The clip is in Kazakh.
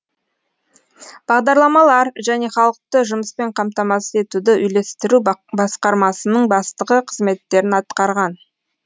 бағдарламалар және халықты жұмыспен қамтамасыз етуді үйлестіру басқармасының бастығы қызметтерін атқарған